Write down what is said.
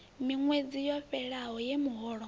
miṅwedzi yo fhelelaho ye muholo